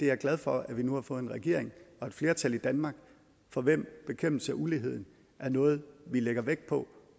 er glad for at vi nu har fået en regering og et flertal i danmark for hvem bekæmpelse af ulighed er noget vi lægger vægt på